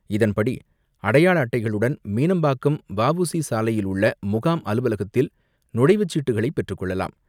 இதன்படி அடையாள அட்டைகளுடன் மீனம்பாக்கம் வ உ சி சாலையில் உள்ள முகாம் அலுவலகத்தில் நுழைவு சீட்டுகளை பெற்று கொள்ளலாம்.